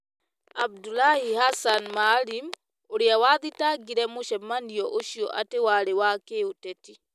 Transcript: Abdullahi Hassan Maalim, ũrĩa wathitangire mũcemanio ũcio atĩ warĩ wa kĩũteti.